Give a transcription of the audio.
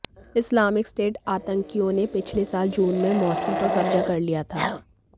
Islamic State आतंकियोंने पिछले साल जून में मोसुल पर कब्जा कर लिया था